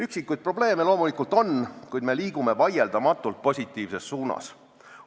Üksikuid probleeme loomulikult on, kuid me liigume vaieldamatult positiivses suunas.